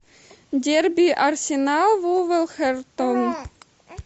дерби арсенал вулверхэмптон